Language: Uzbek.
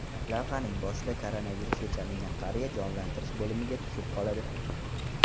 Lavhaning boshida koronavirusga chalingan qariya jonlantirish bo‘limiga tushib qoladi.